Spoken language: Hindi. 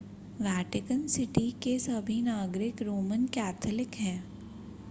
वेटिकन सिटी के सभी नागरिक रोमन कैथोलिक हैं